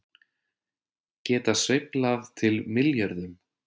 Geta sveiflað til milljörðum